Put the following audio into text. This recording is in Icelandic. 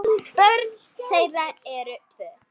Börn þeirra eru tvö.